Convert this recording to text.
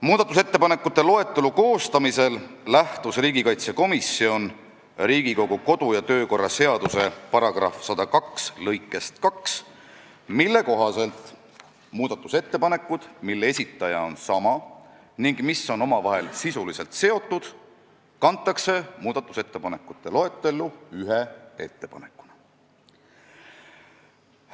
Muudatusettepanekute loetelu koostamisel lähtus riigikaitsekomisjon Riigikogu kodu- ja töökorra seaduse § 102 lõikest 2, mille kohaselt muudatusettepanekud, mille esitaja on sama ning mis on omavahel sisuliselt seotud, kantakse muudatusettepanekute loetellu ühe ettepanekuna.